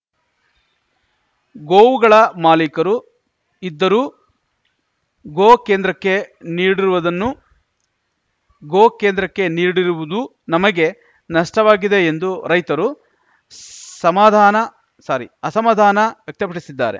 ಗೋವುಗಳ ಮಾಲೀಕರು ಇದ್ದರೂ ಗೋ ಕೇಂದ್ರಕ್ಕೆ ನೀಡಿರುವದನ್ನು ಗೋ ಕೇಂದ್ರಕ್ಕೆ ನೀಡಿರುವುದು ನಮಗೆ ನಷ್ಟವಾಗಿದೆ ಎಂದು ರೈತರು ಸಮಾಧಾನ ಸಾರಿ ಅಸಮಾಧಾನ ವ್ಯಕ್ತಪಡಿಸಿದ್ದಾರೆ